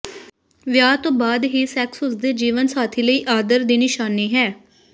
ਵਿਆਹ ਤੋਂ ਬਾਅਦ ਹੀ ਸੈਕਸ ਉਸ ਦੇ ਜੀਵਨ ਸਾਥੀ ਲਈ ਆਦਰ ਦੀ ਨਿਸ਼ਾਨੀ ਹੈ